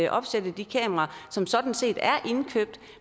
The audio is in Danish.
opsætte de kameraer som sådan set er indkøbt